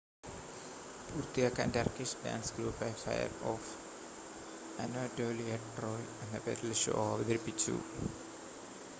"പൂർത്തിയാക്കാൻ Turkish dance ഗ്രൂപ്പായ Fire of Anatolia "Troy" എന്ന പേരിൽ ഷോ അവതരിപ്പിച്ചു.